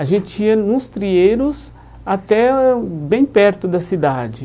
A gente ia nos trieiros até eh bem perto da cidade.